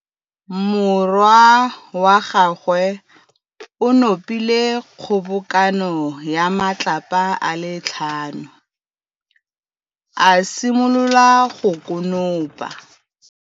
Morwa wa gagwe o nopile kgobokanô ya matlapa a le tlhano, a simolola go konopa.